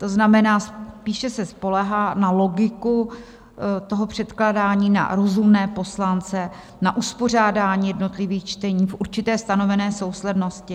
To znamená, spíše se spoléhá na logiku toho předkládání, na rozumné poslance, na uspořádání jednotlivých čtení v určité stanovené souslednosti.